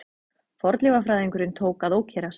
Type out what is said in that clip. Fornleifafræðingurinn tók að ókyrrast.